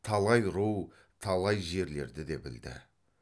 талай ру талай жерлерді де білді